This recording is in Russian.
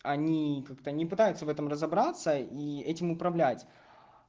они как-то не пытаются в этом разобраться и этим управлять